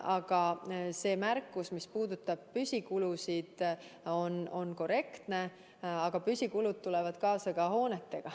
Aga see märkus, mis puudutab püsikulusid, on korrektne, kuid püsikulud tulevad kaasa ka hoonetega.